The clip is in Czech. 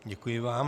Děkuji vám.